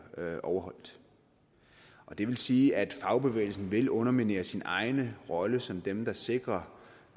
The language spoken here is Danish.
overholdt det vil sige at fagbevægelsen vil underminere sin egen rolle som dem der sikrer